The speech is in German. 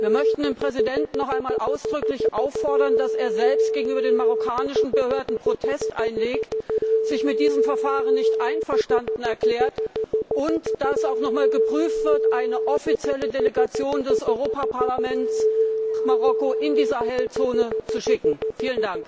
Wir möchten den Präsidenten noch einmal ausdrücklich auffordern, dass er selbst gegenüber den marokkanischen Behörden Protest einlegt, sich mit diesem Verfahren nicht einverstanden erklärt, und dass auch noch einmal geprüft wird, eine offizielle Delegation des Europäischen Parlaments nach Marokko, in die Sahelzone, zu entsenden.